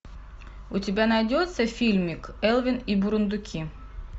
у тебя найдется фильмик элвин и бурундуки